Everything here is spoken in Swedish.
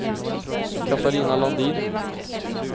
Katarina Landin